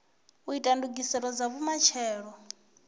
u ita ndugiselo dza vhumatshelo